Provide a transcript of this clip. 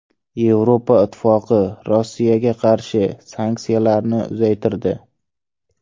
Yevropa Ittifoqi Rossiyaga qarshi sanksiyalarni uzaytirdi.